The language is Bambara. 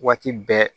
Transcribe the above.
Waati bɛɛ